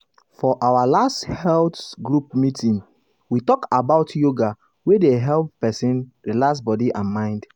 for our last health group meeting we talk about yoga wey dey help person relax body and mind.